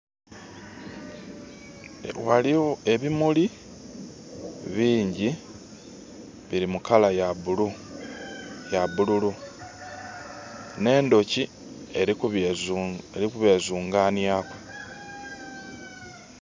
Waliwo ebimuli bingi biri mulangi ya bululu ne ndooki eri kubyezunganiaku